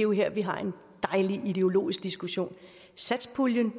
er jo her vi har en dejlig ideologisk diskussion satspuljen